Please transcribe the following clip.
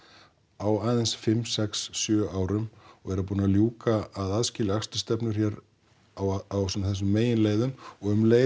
á aðeins fimm sex sjö árum og vera búin að ljúka að aðskilja akstursstefnur hér á þessum meginleiðum og um leið